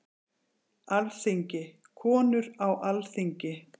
Alþingi- Konur á Alþingi.